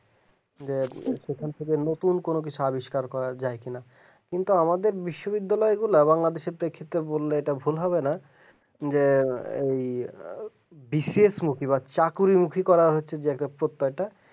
নিয়ে সেখান থেকে নতুন কোন কিছু আবিষ্কার করা যায় কিনা কিন্তু আমাদের বিশ্ব বিদ্যালয় য়ে লবঙ্গরটা ভুল হবে না যে ওই বিশেষমুখী কোন মুখে করা হচ্ছে প্রত্যয় এটা